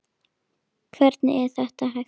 Hvernig er þetta hægt?